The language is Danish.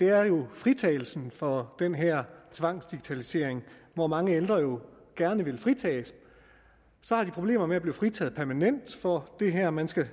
er jo fritagelsen for den her tvangsdigitalisering hvor mange ældre jo gerne vil fritages så har de problemer med at blive fritaget permanent for det her man skal